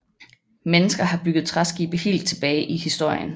Mennesker har bygget træskibe helt tilbage i historien